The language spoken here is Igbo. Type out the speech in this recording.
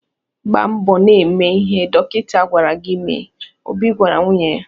"Gbaa mbọ na-eme ihe dọkịta gwara gị mee," Obi gwara nwunye ya.